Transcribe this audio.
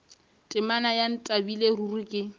temana ya ntlabile ruri ke